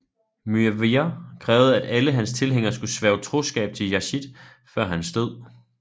Muawiya krævede at alle hans tilhængere skulle sværge troskab til Yazid før hans død